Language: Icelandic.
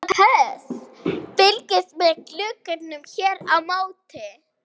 SOPHUS: Fylgist með glugganum hér á móti.